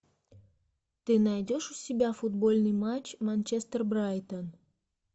ты найдешь у себя футбольный матч манчестер брайтон